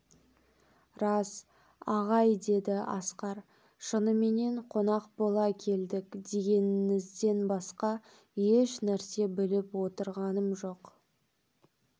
рас ағай деді асқар шыныменен қонақ бола келдік дегеніңізден басқа ешнәрсе біліп отырғам жоқ